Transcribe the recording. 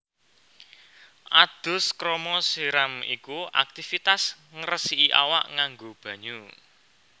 Adus krama siram iku aktivitas ngresiki awak nganggo banyu